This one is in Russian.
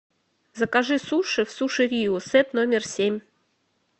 закажи суши в суши рио сет номер семь